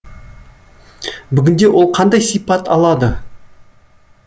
бүгінде ол қандай сипат алады